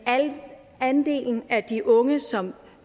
andelen af de unge som